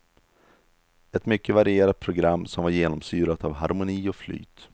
Ett mycket varierat program som var genomsyrat av harmoni och flyt.